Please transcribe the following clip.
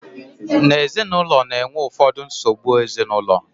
na ezinụlọ na-enwe ụfọdụ nsogbu ezinụlọ